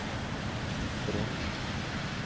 Frogn